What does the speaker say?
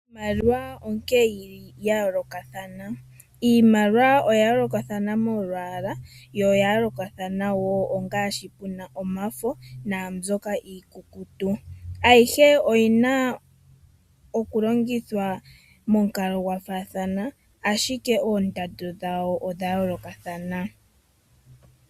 Iimaliwa onkene yili yoolokathana. Iimaliwa oya yoolokathana molwaala, yo oya yoolokathana wo ongaashi puna omafo naambyoka iikukutu. Ayihe oyina okulongithwa momukalo gwafaathana, ashike oondando dhawo odha yoolokathana.